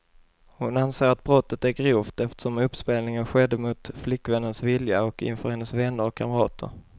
Hon anser att brottet är grovt, eftersom uppspelningen skedde mot flickvännens vilja och inför hennes vänner och kamrater.